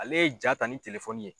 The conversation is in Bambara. Ale ye jaa ta ni telefɔni ye.